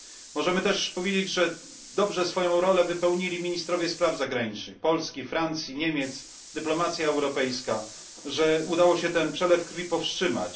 Możemy też powiedzieć, że dobrze swoją rolę wypełnili ministrowie spraw zagranicznych Polski, Francji i Niemiec, europejska dyplomacja, że udało się ten przelew krwi powstrzymać.